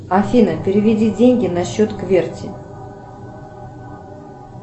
афина переведи деньги на счет кверти